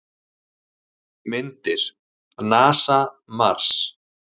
Myndir: NASA- Mars.